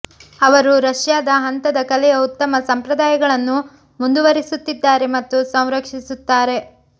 ಅವರು ರಷ್ಯಾದ ಹಂತದ ಕಲೆಯ ಉತ್ತಮ ಸಂಪ್ರದಾಯಗಳನ್ನು ಮುಂದುವರೆಸುತ್ತಿದ್ದಾರೆ ಮತ್ತು ಸಂರಕ್ಷಿಸುತ್ತಾರೆ